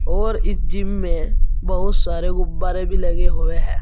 और इस जिम में बहुत सारे गुब्बारे भी लगे हुए हैं।